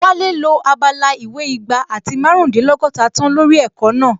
Wálé lo abala ìwé igba àti márùndínlọ́gọ́ta tán lórí ẹ̀kọ́ náà